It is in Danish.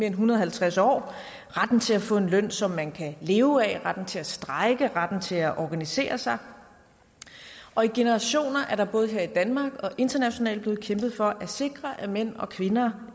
en hundrede og halvtreds år retten til at få en løn som man kan leve af retten til at strejke retten til at organisere sig og i generationer er der både her i danmark og internationalt blevet kæmpet for at sikre at mænd og kvinder